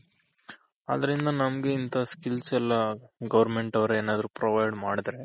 ಆದ್ರಿಂದ ನಮ್ಗ್ ಇಂತ skills ಎಲ್ಲ Government ಅವ್ರ್ ಏನಾದ್ರೂ provide ಮಾಡಿದ್ರೆ